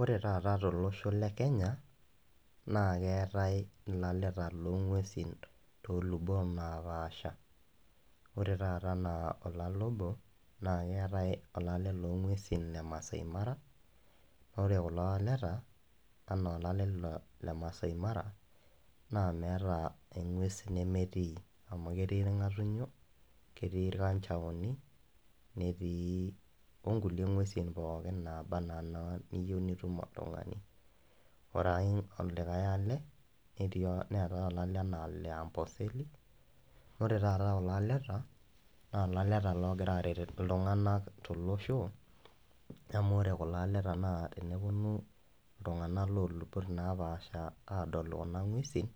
Ore taata tolosho le kenya naa keetai ilaleta loong'uesin tolosho le kenya toolubot naapasha ore taata enaa olale obo naa keetai olale le maaashai mara ore kulo aleta enaa olale le maasai mara naa meeta eng'ues nemetii ketii irng'atunyio netii irkanjaoni ongulie ng'uesin kumok ,ore taata kulo aleta naa ilaleta oogira aaret iltung'anak tolosho amu ore kulo aleta naa tenepuonu iltung'anak loolubot naapasha adol kuna ng'uesin